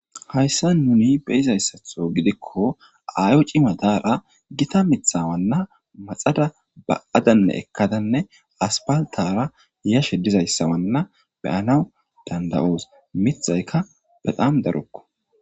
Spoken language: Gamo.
Haysan nun beyizaysatho gidikon ayo cima Dara Gita mithana maxada ba'adanne ekada asphaltara yashe dizaysa beyanawu danda'os , mithayka betam darokko.